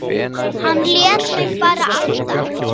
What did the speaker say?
Hann lét mig bara anda.